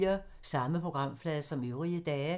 Samme programflade som øvrige dage